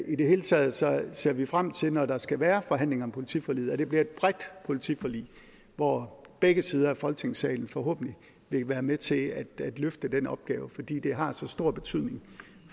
det hele taget taget ser vi frem til når der skal være forhandlinger om politiforliget at det bliver et bredt politiforlig hvor begge sider af folketingssalen forhåbentlig vil være med til at løfte den opgave fordi det har så stor betydning